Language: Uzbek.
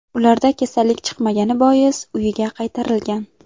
Ularda kasallik chiqmagani bois, uyiga qaytarilgan.